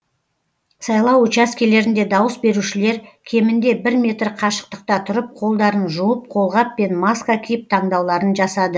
сайлау учаскелерінде дауыс берушілер кемінде бір метр қашықтықта тұрып қолдарын жуып қолғап пен маска киіп таңдауларын жасады